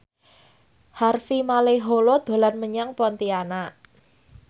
Harvey Malaiholo dolan menyang Pontianak